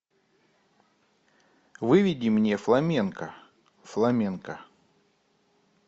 выведи мне фламенко фламенко